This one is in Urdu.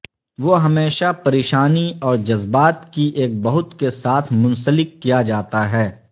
وہ ہمیشہ پریشانی اور جذبات کی ایک بہت کے ساتھ منسلک کیا جاتا ہے